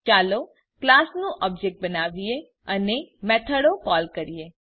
ચાલો ક્લાસનું ઓબ્જેક્ટ બનાવીએ અને મેથડો કોલ કરીએ